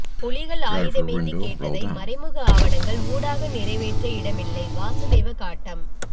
புலிகள் ஆயுதமேந்தி கேட்டதை மறைமுக ஆவணங்கள் ஊடாக நிறைவேற்ற இடமில்லை வாசுதேவ காட்டம்